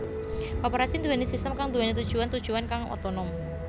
Koperasi nduwèni sistem kang nduwèni tujuwan tujuwan kang otonom